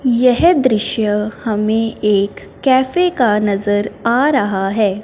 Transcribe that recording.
यह दृश्य हमें एक कैफे का नजर आ रहा है।